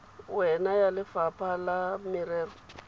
wena ya lefapha la merero